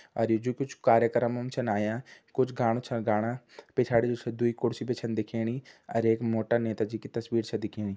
अर ये जू कुछ कार्यकर्म म छन आयां कुछ गाणा छन गाणा पिछाड़ी जू छ दुई कुर्सी भी छन दिखेणी अर एक मोटा नेता जी की तस्वीर छ दिखेणी।